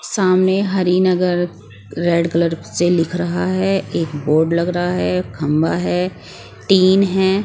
सामने Harinagar red colour से लिख रहा है एक बोर्ड लग रहा है खंभा है टीन है।